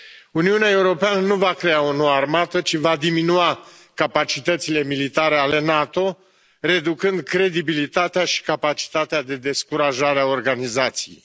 Uniunea Europeană nu va crea o nouă armată ci va diminua capacitățile militare ale NATO, reducând credibilitatea și capacitatea de descurajare a organizației.